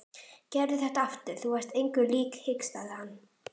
Gerðu þetta aftur, þú varst engu lík hikstaði hann.